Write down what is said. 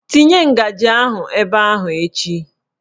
Tinye ngaji ahụ ebe ahụ echi!